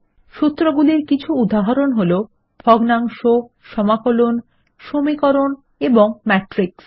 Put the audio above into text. সুত্রগুলির কিছু উদাহরণ হল ভগ্নাংশ সমকলন সমীকরণ এবং ম্যাটরিক্স